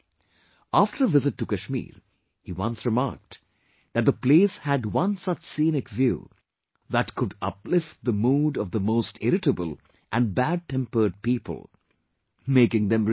After a visit to Kashmir, he once remarked that the place had one such scenic view that could uplift the mood of the most irritable and badtempered people, making them rejoice